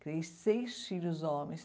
Criei seis filhos homens.